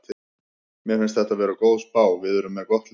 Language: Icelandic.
Mér finnst þetta vera góð spá, við erum með gott lið.